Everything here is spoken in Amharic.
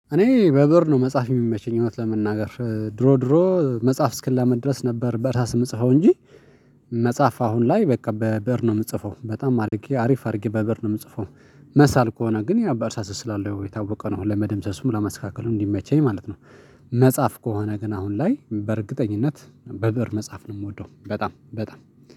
እኔ በበር ነው መጽሐፍ የሚመቸኝ እውነት ለመናገር ድሮ ድሮ መጽሐፍ እስክላመድ ድረስ ነበር በራስ የምጽፈው እንጂ መጻፍ አሁን ላይ በቃ በብእር ነው የምጽፈው በጣም አድርጌ አሪፍ አድርጌ በብእር ነው የምጽፈው መሳል ከሆነ ግን ያው በእርሳስ እስላለው የታወቀ ነው ለመደምሰሱም ለመስተካከሉ እንዲመቸኝ ማለት ነው። መጻፍ ከሆነ ግን አሁን ላይ በእርግጠኝነት በብእር መጻፍ ነው የምወደው በጣም በጣም